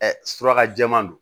surakajɛma don